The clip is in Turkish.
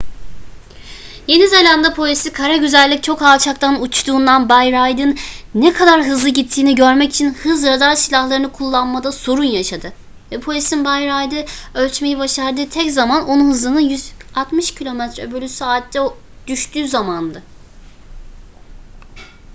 yeni zelanda polisi kara güzellik çok alçaktan uçtuğundan bay reid'in ne kadar hızlı gittiğini görmek için hız radar silahlarını kullanmada sorun yaşadı ve polisin bay reid'i ölçmeyi başardığı tek zaman onun hızının 160 km/saate düştüğü zamandı